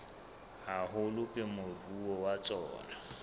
haholo ke moruo wa tsona